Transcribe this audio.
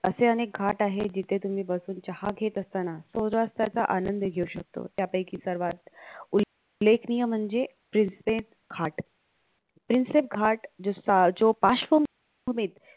असे अनेक घाट आहेत जिथे तुम्ही बसून चहा घेत असताना सूर्यास्ताचा आनंद घेऊ शकतो त्यापैकी सर्वात उल्लेखनीय म्हणजे प्रिन्सेप घाट प्रिन्सेप घाट जो पार्श्वभूमीत